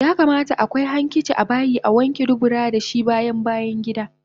Yakamata akwai hankici abayi Awanke dubura dashi bayan bayangida